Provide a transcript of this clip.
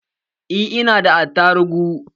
Eh, ina da attarugu